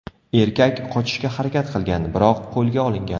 Erkak qochishga harakat qilgan, biroq qo‘lga olingan.